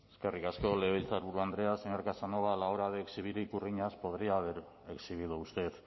eskerrik asko legebiltzarburu andrea señor casanova a la hora de exhibir ikurriñas podría haber exhibido usted